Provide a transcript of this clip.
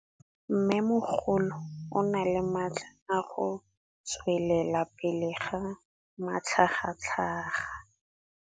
Mmêmogolo o na le matla a go tswelela pele ka matlhagatlhaga.